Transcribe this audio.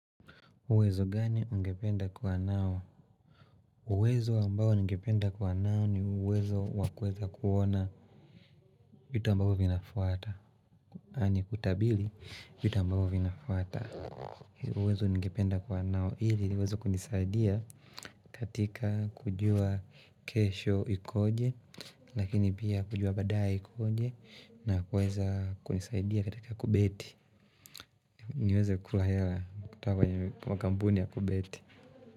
Uwezo gani ungependa kuwa nao? Uwezo ambao ningependa kuwa nao ni uwezo wa kuweza kuona vitu ambavyo vinafuata. Ni kutabili vitu ambavyo vinafuata. Uwezo ningependa kwa nao ili uweze kunisaidia katika kujua kesho ikoje Lakini pia kujua badaye ikoje na kuweza kunisaidia katika kubeti niweze kula hela kutoka kwa kampuni ya kubeti.